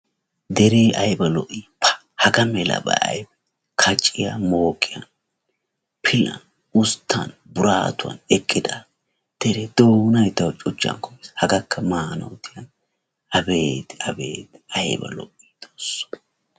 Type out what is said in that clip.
Dere aybba lo''i pa! hagaa malaba kacciyaa mooqqiyan pilan usttan burattuwan eqqida dere doonay taw cuchchan kummiis hagakka maanaw diyaana abeeti abeeti aybba lo''i xoosso!